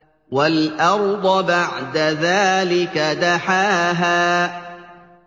وَالْأَرْضَ بَعْدَ ذَٰلِكَ دَحَاهَا